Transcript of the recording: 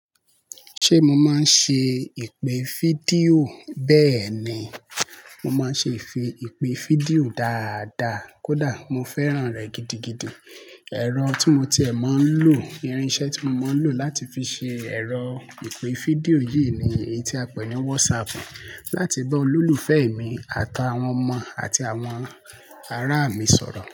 Ṣe mo maa n ṣe ipe fidio? Bẹẹni, mo maa n ṣe ipe fidio dáadáa kódà mo fẹ́ràn rẹ gidigidi. Ẹ̀rọ tí mo ti ẹ̀ mọ̀ ń lò, irinṣẹ́ tí mo mọ̀ ń lò láti fi ṣe ẹ̀rọ ipe fídíò yìí ni èyí tí a pè ní WhatsApp láti bá olólùfẹ́ mi àtàwọn ọmọ àti àwọn ará mi sọ̀rọ̀